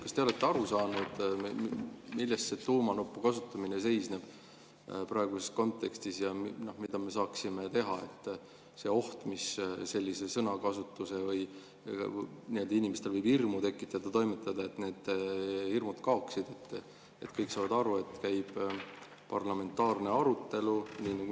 Kas te olete aru saanud, milles see tuumanupu kasutamine seisneb praeguses kontekstis ja mida me saaksime teha selle ohuga, et selline sõnakasutus võib inimestes hirmu tekitada, ja kuidas toimetada, et need hirmud kaoksid, et kõik saaksid aru, et käib parlamentaarne arutelu?